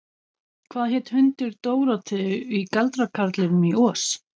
Hvað hét hundur Dórótheu í Galdrakarlinum í Oz?